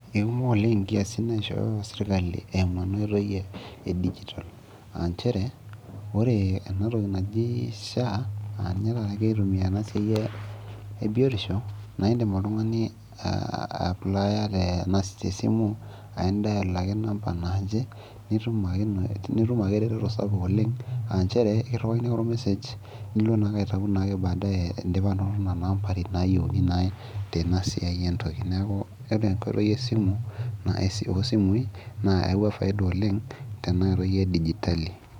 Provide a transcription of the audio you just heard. kekumok oleng' kiayiasin naishoyo seirkali emu enaitoi e digital, aa nchere ore enatoki naji SHA aaninye tata egirai atumia tena siai ebiyotisho naa idim oltung'ani applier tesimu aa dual, ake te simu namba naaje nitum ake ero toto, ekiruakini ake or message nilo naake aitau badaye , neeku ore enasiai oo isimui newua eretoto oleng' .